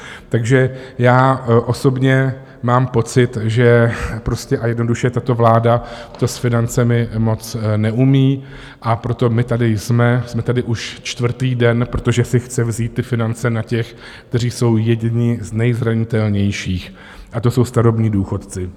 Takže já osobně mám pocit, že prostě a jednoduše tato vláda to s financemi moc neumí, a proto my tady jsme, jsme tady už čtvrtý den, protože si chce vzít ty finance na těch, kteří jsou jedni z nejzranitelnějších, a to jsou starobní důchodci.